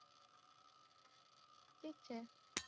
ઠીક છે.